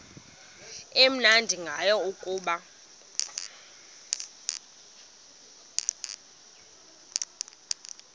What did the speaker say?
amnandi ngayo kukuba